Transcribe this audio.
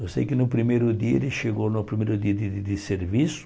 Eu sei que no primeiro dia, ele chegou no primeiro dia de de de serviço.